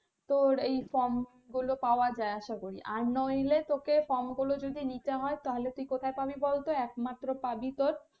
তোর এই from গুলো পাওয়া যায় আশা করি আর নইলে তোকে from গুলো যদি নিতে হয় তাহলে তুই কোথায় পাবি বলতো একমাত্র পাবি তোর,